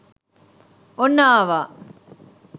ඔන්න ආවා